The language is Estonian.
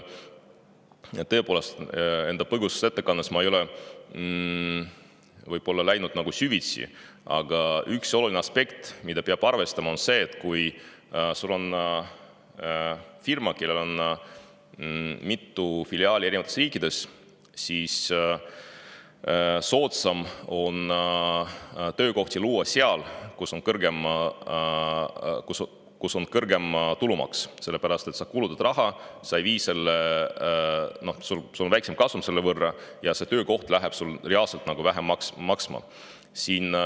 Tõepoolest, enda põgusas ettekandes ma võib-olla ei läinud süvitsi, aga üks oluline aspekt, mida peab arvestama, on see, et kui firmal on mitu filiaali eri riikides, siis soodsam on töökohti luua seal, kus on kõrgem tulumaks, sest sa kulutad raha, sul on selle võrra väiksem kasum ja see töökoht läheb sulle reaalselt vähem maksma.